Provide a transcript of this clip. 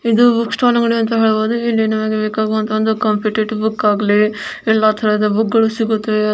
ಇದು book stall ಅಂಗಡಿ ಅಂತನೇ ಹೇಳ್ಬಹುದು ಇಲ್ಲಿ ನಮಗೆ ಬೆಕಾಗುವಂತಹ ಒಂದು ಕಾಂಪಿಟೇಟಿವ್ ಬುಕ್ ಆಗಲಿ ಎಲ್ಲಾ ತರಹದ ಬುಕ್ ಗಳು ಸಿಗುತ್ತವೆ.